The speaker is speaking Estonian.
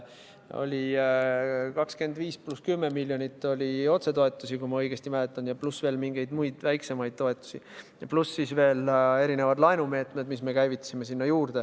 Oli 25 + 10 miljonit eurot otsetoetusi, kui ma õigesti mäletan, pluss veel mingid muud väiksemad toetused ja mitmesugused laenumeetmed, mis me käivitasime.